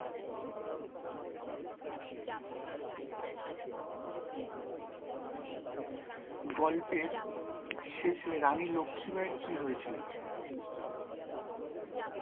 গল্পের শেষে রানী লক্ষীবাঈ এর কি হয়েছিল?